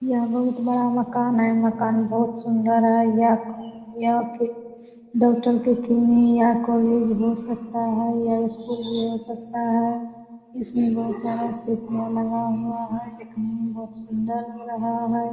यह एक बड़ा मकान है मकान बहुत सुन्दर है यह कॉलेज यह यह कॉलेज हो सकता है यह स्कूल भी हो सकता है इसमें बहुत सारा खिड़कियाँ लगा हुआ है देखने में बहुत सुन्दर लग रहा है।